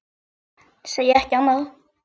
Segi ekki annað.